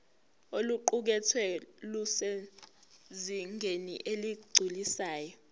oluqukethwe lusezingeni eligculisayo